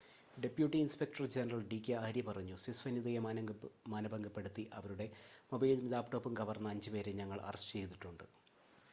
"Deputy inspector general D K Arya പറഞ്ഞു,""സ്വിസ് വനിതയെ മാനഭംഗപ്പെടുത്തി അവരുടെ മൊബൈലും ലാപ്ടോപ്പും കവർന്ന അഞ്ച് പേരെ ഞങ്ങൾ അറസ്റ്റ് ചെയ്തിട്ടുണ്ട്"".